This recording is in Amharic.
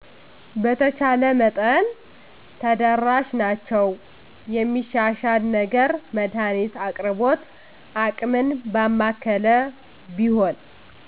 በተቻለ መጠን ተደራሽ ናቸዉ የሚሻሻል ነገር መድሀኒት አቅርቦት አቅምን ባማከለ ቢሆን